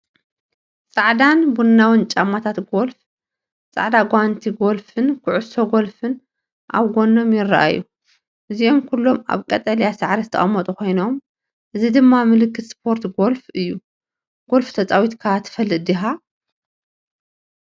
ጻዕዳን ቡናውን ጫማታት ጎልፍ፡ ጻዕዳ ጓንቲ ጎልፍን ኩዕሶ ጎልፍን ኣብ ጎኖም ይረኣዩ። እዚኦም ኩሎም ኣብ ቀጠልያ ሳዕሪ ዝተቐመጡ ኮይኖም፡ እዚ ድማ ምልክት ስፖርት ጎልፍ እዩ። ጎልፍ ተጻዊትካ ትፈልጥ ዲኻ?